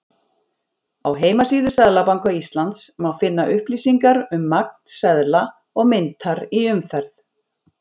Á heimasíðu Seðlabanka Íslands má finna upplýsingar um magn seðla og myntar í umferð.